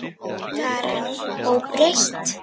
Karen: Óbreytt?